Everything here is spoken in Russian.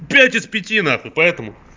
пять из пяти нахуй поэтому